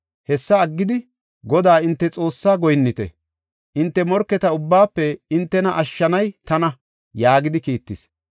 Hessa aggidi, Godaa hinte Xoossaa goyinnite. Hinte morketa ubbaafe hintena ashshanay tana” yaagidi kiittis.